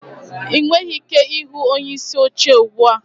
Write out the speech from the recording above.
Ị nweghị ike ịhụ onyeisi oche ugbu a